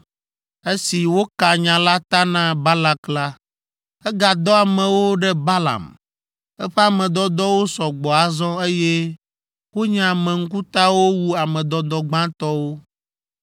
Esi woka nya la ta na Balak la, egadɔ amewo ɖe Balaam. Eƒe ame dɔdɔwo sɔ gbɔ azɔ, eye wonye ame ŋkutawo wu ame dɔdɔ gbãtɔwo.